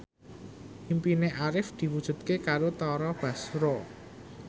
impine Arif diwujudke karo Tara Basro